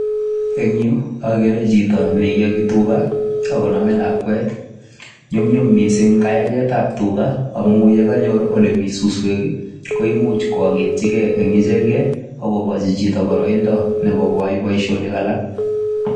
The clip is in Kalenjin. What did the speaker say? En yu ogere chito ne iyogi tuga ak koome lakwet. Nyumnyum mising kayagetab tuga amun ye kanyor ole mi suswek koimuch koagetyi ge en ichegen ak kogochi chito boroindo nebo koyai boisionik alak